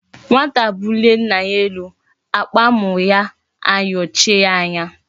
Nwata bulie nna ya elu akpa amu ya ayochie ya anya